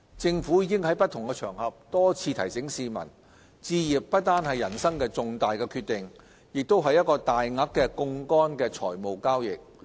政府已經於不同場合多次提醒市民，置業不單是人生的重大決定，亦是一個大額的槓桿財務交易。